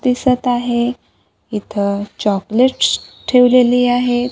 दिसत आहे इथं चॉकलेट्स ठेवलेली आहे.